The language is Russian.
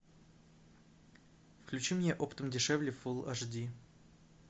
включи мне оптом дешевле фул аш ди